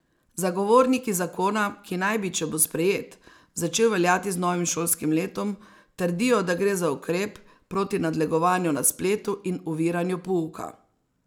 Zagovorniki zakona, ki naj bi, če bo sprejet, začel veljati z novim šolskim letom, trdijo, da gre za ukrep proti nadlegovanju na spletu in oviranju pouka.